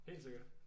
Helt sikkert